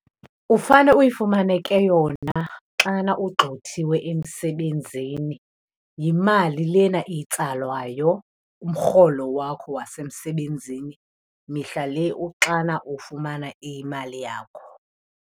Ufane uyifumane ke yona xana ugqxothiwe emsebenzini. Yimali lena itsalwayo kumrholo wakho wasemsebenzini mihla le uxana ufumana imali yakho.